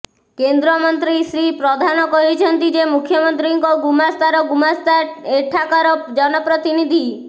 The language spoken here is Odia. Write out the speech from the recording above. କେନ୍ଦ୍ରମନ୍ତ୍ରୀ ଶ୍ରୀ ପ୍ରଧାନ କହିଛନ୍ତି ଯେ ମୁଖ୍ୟମନ୍ତ୍ରୀଙ୍କ ଗୁମାସ୍ତାର ଗୁମାସ୍ତା ଏଠାକାର ଜନପ୍ରତିନିଧି